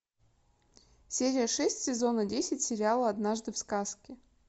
серия шесть сезона десять сериала однажды в сказке